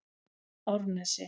Árnesi